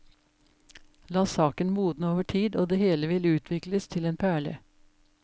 La saken modne over tid, og det hele vil utvikles til en perle.